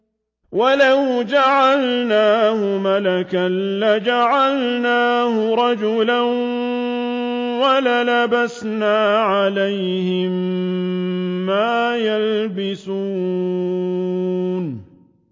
وَلَوْ جَعَلْنَاهُ مَلَكًا لَّجَعَلْنَاهُ رَجُلًا وَلَلَبَسْنَا عَلَيْهِم مَّا يَلْبِسُونَ